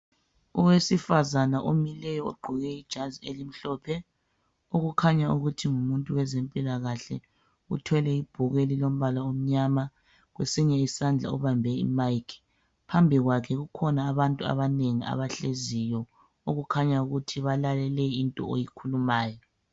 Owesifazane omileyo ogqoke ijazi elimhlophe okukhanya ukuthi ngumuntu wezempilakahle. Uthwele ibhuku elimnyama ,kesinye isandla ubambe i"mic".Phambi kwakhe kukhona abantu abanengi abahleziyo okukhanya ukuthi balalele into ayikhulumayo.